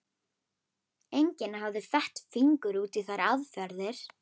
Enginn hafði fett fingur út í þær aðferðir.